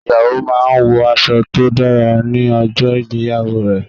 Ìyàwó máa ń wọ aṣọ tó dára ní ọjọ́ ìgbéyàwó rẹ̀.